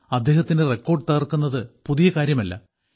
അദ്ദേഹത്തിന് റെക്കോർഡ് തകർക്കുന്നത് പുതിയ കാര്യമല്ല